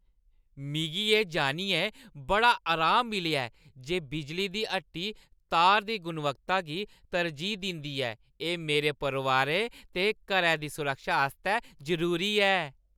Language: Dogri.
मिगी एह् जान्नियै बड़ा अराम मिलेआ ऐ जे बिजली दी हट्टी तार दी गुणवत्ता गी तरजीह् दिंदी ऐ। एह् मेरे परोआरै ते घरै दी सुरक्षा आस्तै जरूरी ऐ।